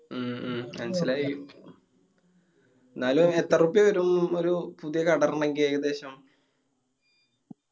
മ്മ് മ്മ് മന്സ്സിലായി എന്നാലും എത്ര റുപ്യാ വരും ഒരു പുതിയ കട ഇടണെങ്കി ഏകദേശം.